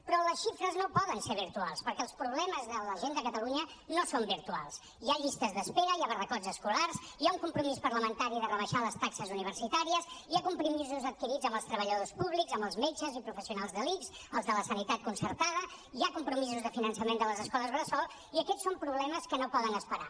però les xifres no poden ser virtuals perquè els problemes de la gent de catalunya no són virtuals hi ha llistes d’espera hi ha barracots escolars hi ha un compromís parlamentari de rebaixar les taxes universitàries hi ha compromisos adquirits amb els treballadors públics amb els metges i professionals de l’ics els de la sanitat concertada hi ha compromisos de finançament de les escoles bressol i aquests són problemes que no poden esperar